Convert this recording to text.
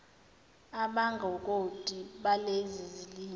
abangongoti balezi zilimi